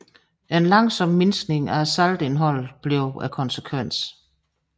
En langsom mindskning af saltindholdet blev konsekvensen